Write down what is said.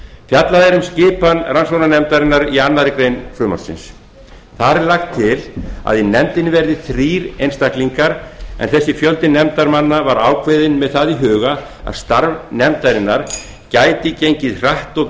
fjallað er um skipan rannsóknarnefndarinnar í annarri grein frumvarpsins þar er lagt til að í nefndinni verði þrír einstaklingar sá fjöldi nefndarmanna var ákveðinn með það í huga að starf nefndarinnar gæti gengið hratt og